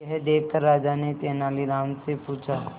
यह देखकर राजा ने तेनालीराम से पूछा